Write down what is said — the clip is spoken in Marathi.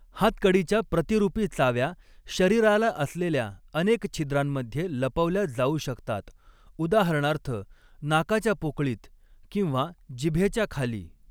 हातकडीच्या प्रतिरूपी चाव्या शरीराला असलेल्या अनेक छिद्रांमध्ये लपवल्या जाऊ शकतात, उदाहरणार्थ नाकाच्या पोकळीत किंवा जिभेच्या खाली.